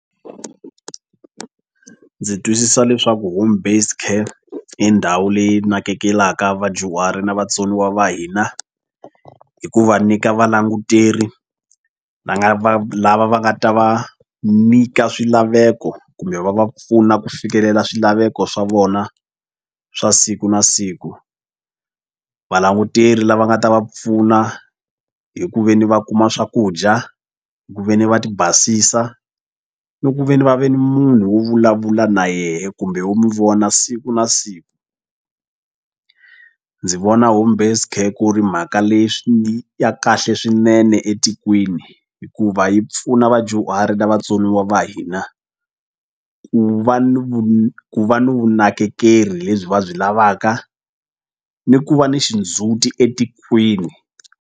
Ndzi twisisa leswaku home based care i ndhawu leyi nakekela vadyuhari na vatsoniwa va hina hi ku va nyika valanguteri va nga va lava va nga ta va nyika swilaveko kumbe va va pfuna ku fikelela swilaveko swa vona swa siku na siku valanguteri lava nga ta va pfuna hi ku veni va kuma swakudya hi ku ve ni va ti basisa ni ku ve ni va ve ni munhu wo vulavula na yehe kumbe wo mu vona siku na siku ndzi vona home based care ku ri mhaka leswi ya kahle swinene etikweni hikuva yi pfuna vadyuhari na vatsoniwa va hina ku va ni ku va ni vunakekeri lebyi va byi lavaka ni ku va ni xindzhuti etikweni.